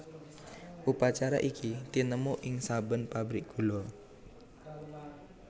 Upacara iki tinemu ing saben pabrik gula